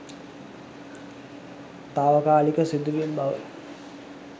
තාවකාලික සිදුවීම් බව